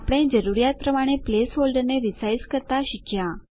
આપણે જરૂરીયાત પ્રમાણે પ્લેસ હોલ્ડરને રીસાઈઝ કરતા શીખ્યા